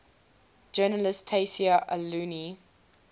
journalist tayseer allouni